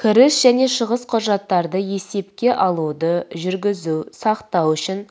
кіріс және шығыс құжаттарды есепке алуды жүргізу сақтау үшін